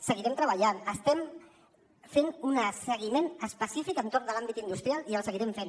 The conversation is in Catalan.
seguirem treballant estem fent un seguiment específic entorn de l’àmbit industrial i el seguirem fent